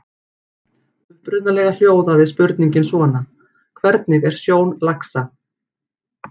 Upprunalega hljóðaði spurningin svona: Hvernig er sjón laxa?